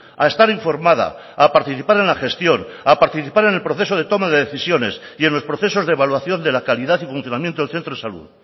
a estar informada a participar en la gestión a participar en el proceso de toma de decisiones y en los procesos de evaluación de la calidad y funcionamiento del centro de salud